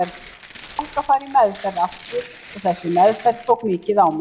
Ég fékk að fara í meðferð aftur og þessi meðferð tók mikið á mig.